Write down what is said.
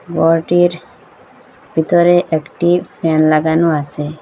ঘরটির ভিতরে একটি ফ্যান লাগানো আসে।